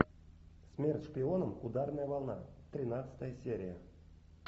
смерть шпионам ударная волна тринадцатая серия